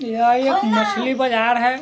यह एक मछली बाजार है।